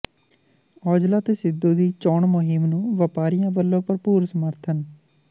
ਔਜਲਾ ਤੇ ਸਿੱਧੂ ਦੀ ਚੋਣ ਮੁਹਿੰਮ ਨੂੰ ਵਪਾਰੀਆਂ ਵੱਲੋਂ ਭਰਪੂਰ ਸਮਰਥਨ